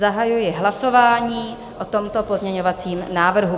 Zahajuji hlasování o tomto pozměňovacím návrhu.